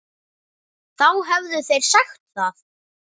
Þá hefðu þeir sagt það.